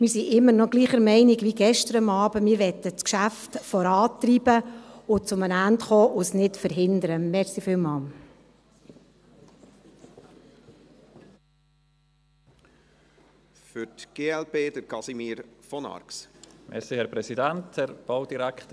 Wir sind immer noch derselben Meinung wie gestern Abend: Wir möchten das Geschäft vorantreiben und zu einem Ende kommen und es nicht verhindern.